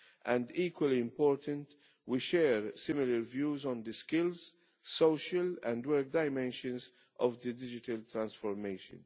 Of equal importance is that we share similar views on the skills, social and work dimensions of digital transformation.